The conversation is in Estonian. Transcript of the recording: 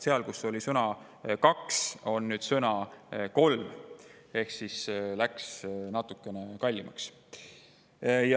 Seal, kus oli sõna "kaks", on nüüd sõna "kolm" ehk see tasu läks natukene kallimaks.